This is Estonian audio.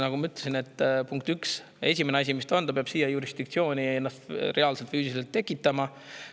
Nagu ma ütlesin, esimese asjana peab selle siia jurisdiktsiooni reaalselt füüsiliselt tekitama.